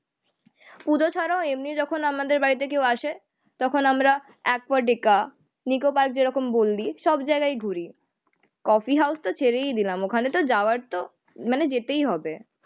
পুজো ছাড়াও এমনি যখন আমাদের বাড়িতে কেউ আসে তখন আমরা অ্যাকুয়াটিকা, নিকো পার্ক যেরকম বললি সব জায়গায় ঘুরি। কফি হাউস তো ছেড়েই দিলাম ওখানেতো যাওয়ার তো মানে যেতেই হবে।